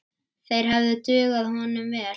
Þeir hefðu dugað honum vel.